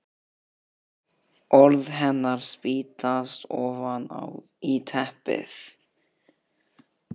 Orð hennar spýtast ofan í teppið.